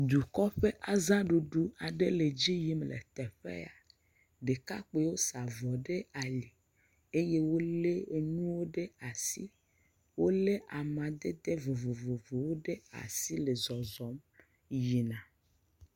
Dukɔ ƒe azaɖuɖu le edzi yim le teƒea ɖekakpuiwo sa avɔ ɖe ali eye wole nuwo ɖe asi wole amadede vovovowo ɖe asi le zɔzɔm yina